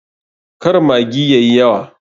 Kar maggi yayi yawa.